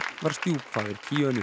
var stjúpfaðir